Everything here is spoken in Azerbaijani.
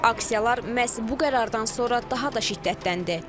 Aksiyalar məhz bu qərardan sonra daha da şiddətləndi.